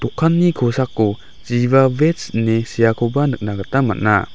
kosako giba veg ine seakoba nikna gita man·a.